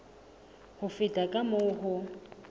ho feta ka moo ho